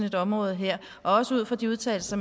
et område her også ud fra de udtalelser